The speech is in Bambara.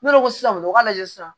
Ne ko ko sisan nɔ u k'a lajɛ sisan